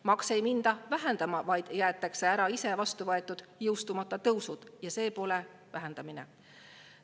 Makse ei minda vähendama, vaid jäetakse ära iseenda vastu võetud, jõustumata tõusud – see pole vähendamine.